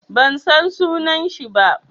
Ban san sunan shi ba.